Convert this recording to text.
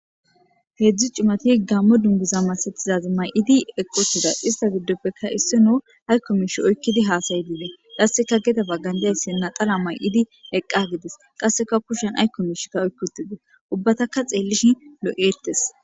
heedzdzu cimati gammo dunguza masathizazi may7idi eqqotida ista giddoppekka issino aykko miishi oykkidi haasayidiide qasseka gede bagan diyayssi naxala may7idi eqqa gides qasseka kushshan aykko mishikka oykkiutide ubbataka xeellish lo7ettes